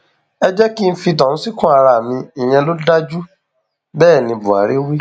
ẹ jẹ kí n fi tọhún síkùn ara mi ìyẹn ló dáa ju bẹẹ ní buhari wí